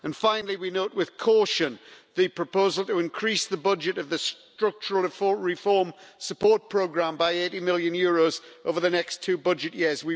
Finally, we note with caution the proposal to increase the budget of the Structural Reform Support Programme by EUR 80 million over the next two budget years.